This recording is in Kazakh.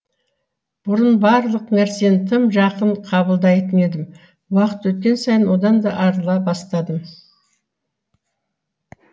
бұрын барлық нәрсені тым жақын қабылдайтын едім уақыт өткен сайын одан да арыла бастадым